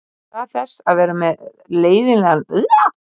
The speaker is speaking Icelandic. Í stað þess að vera með leiðinlegan leikstíl.